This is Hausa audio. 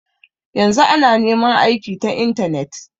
Yanzu ana neman aiki ta intanet.